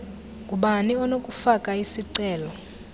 ngubani onokufaka isicelo